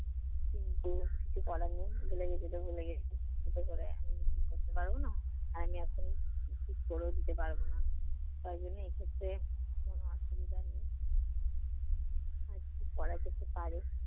কিন্তু কিছু করার নেই, ভুলে গেছিতো ভুলে গেছি। চিন্তা করে এখনতো কিছু করতে পারব না। আর আমি এখন ঠিক করেও দিতে পারব না। তার জন্য এক্ষেত্রে কোন অসুবিধা হবে না। আর কি করা যেতে পারে?